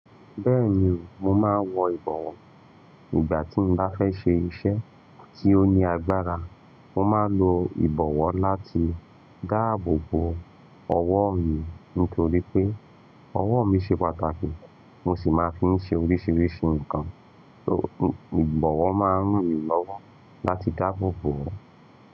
Bẹ́ẹ̀ni, mo máa ń wọ ìbọ̀wọ́. Ìgbà tí mo bá fẹ́ ṣe iṣẹ́ tí ó ní agbára, mo máa ń lo ìbọ̀wọ́ láti dáàbò bo ọwọ́ mi nítorí pé ọwọ́ mi ṣe pàtàkì, mo sì máa ń fi ń ṣe oríṣiríṣi nǹkan. Ìbọ̀wọ́ máa ń ran ènìyàn lọ́wọ́ láti dáàbò bo wọ́n.